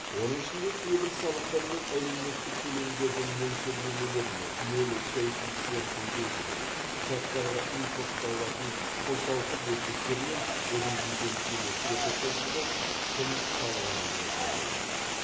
оның ішінде кейбір салықтар мен әлеуметтік төлемдердің мөлшерлемелеріне нөл коэффициентін белгілеу ұшақтарға импортталатын қосалқы бөлшектер мен резидент еместерді қосылған құн салығынан босату